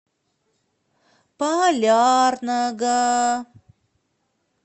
полярного